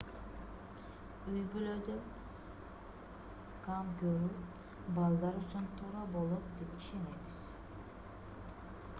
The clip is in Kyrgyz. үй-бүлөдө кам көрүү балдар үчүн туура болот деп ишенебиз